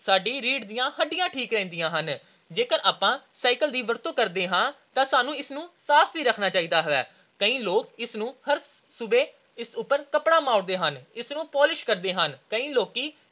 ਸਾਡੀ ਰੀੜ੍ਹ ਦੀਆਂ ਹੱਡੀਆਂ ਠੀਕ ਰਹਿੰਦੀਆਂ ਹਨ। ਜੇਕਰ ਅਸੀਂ cycle ਦੀ ਵਰਤੋਂ ਕਰਦੇ ਹਾਂ ਤਾਂ ਸਾਨੂੰ ਇਸ ਨੂੰ ਸਾਫ ਵੀ ਰੱਖਣਾ ਚਾਹੀਦਾ ਹੈ। ਕਈ ਲੋਕ ਇਸ ਨੂੰ ਹਰ ਸੁਬਹ ਇਸ ਉਪਰ ਕੱਪੜਾ ਮਾਰਦੇ ਹਨ। ਇਸ ਤੇ polish ਕਰਦੇ ਹਨ। ਕਈ ਲੋਕੀ